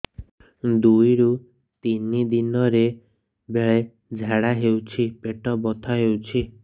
ଦୁଇରୁ ତିନି ଦିନରେ ବେଳେ ଝାଡ଼ା ହେଉଛି ପେଟ ବଥା ହେଉଛି